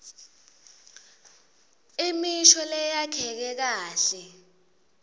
imisho leyakheke kahle